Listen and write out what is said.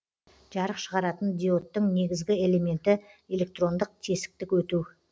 жарық шығаратын диодтың негізгі элементі электрондық тесіктік өту